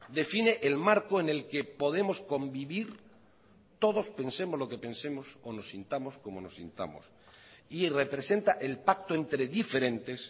define el marco en el que podemos convivir todos pensemos lo que pensemos o nos sintamos como nos sintamos y representa el pacto entre diferentes